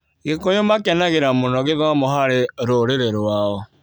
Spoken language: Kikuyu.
Gĩkũyũ makenagĩra mũno gĩthomo harĩ rũrĩrĩ rwao.